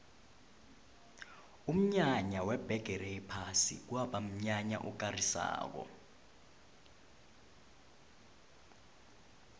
umnyanya webhigiri yephasi kwaba mnyanya okarisako